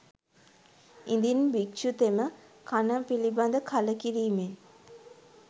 ඉදින් භික්‍ෂුතෙම කණ පිළිබඳ කලකිරීමෙන්